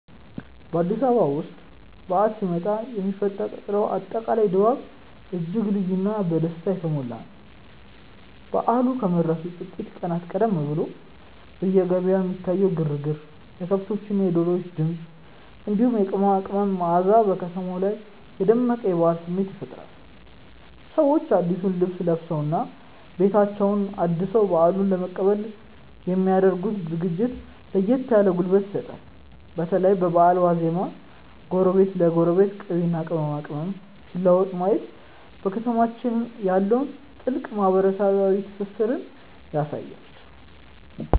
በአዲስ አበባ ውስጥ በዓል ሲመጣ የሚፈጠረው አጠቃላይ ድባብ እጅግ ልዩና በደስታ የተሞላ ነው። በዓሉ ከመድረሱ ጥቂት ቀናት ቀደም ብሎ በየገበያው የሚታየው ግርግር፣ የከብቶችና የዶሮዎች ድምፅ፣ እንዲሁም የቅመማ ቅመም መዓዛ በከተማዋ ላይ የደመቀ የበዓል ስሜት ይፈጥራል። ሰዎች አዲሱን ልብስ ለብሰውና ቤታቸውን አድሰው በዓሉን ለመቀበል የሚ ያደርጉት ዝግጅት ለየት ያለ ጉልበት ይሰጣል። በተለይ በበዓል ዋዜማ ጎረቤት ለጎረቤት ቅቤና ቅመማ ቅመም ሲለዋወጥ ማየት በከተማችን ያለውን ጥልቅ ማህበራዊ ትስስር ያሳያል።